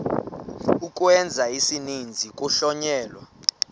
ukwenza isininzi kuhlonyelwa